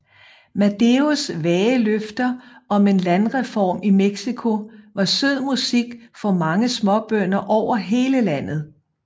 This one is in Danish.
Maderos vage løfter om en landreform i Mexico var sød musik for mange småbønder over hele landet